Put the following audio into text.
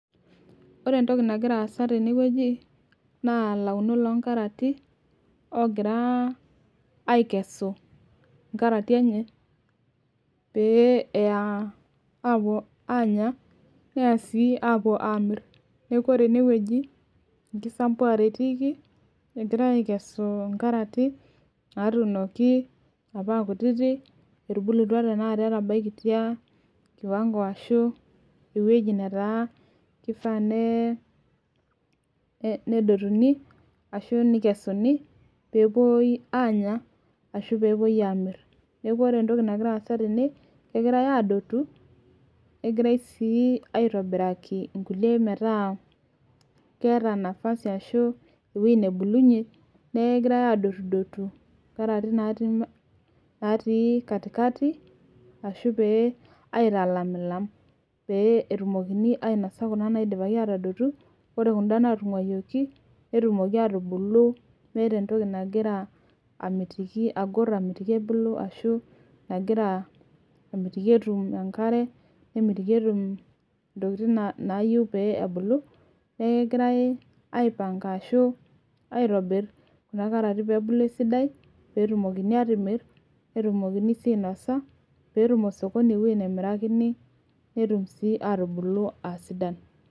Ore entoki nagira aasa tene wueji naa ilaunok loo nkarati. loogira, aikesu nkarati enye. pee eya aapuo aanya. neya sii aapuo aamir. neeku ore ene wueji enkisampuare etiiki egirae aikesu nkarati natuunoki. apa aa kutitik. etubulutua tenakata etabaikitia, kiwango ashue ewueji netara kifaa nedotuni ashu nekesuni peepuoi aanya. ashu pee epuoi aamir. neeku ore entoki nagira aasa tene, kegirae aadotu, negirae sii aitobiraki nkulie metaa, keeta nafasi ashu ewueji nebulunye. neeku kegirae aadotu nkarati naatii katikati ashu aitamilam. pee etumokini ainosa Kuna naataduoto. ore kuda naatunguayioki netumoki aatubulu meeta entoki nagira amitiki, agor ashu ,nagira amitiki etum enkare. nemitiki, etum ntokitin naayieu pee .neeku kegirae aipanga ashu, aitobir pee ebulu esidai. pee etumokini aatipik. pee etum osokoni ewueji nemirakini netum sii atimir aa sidan.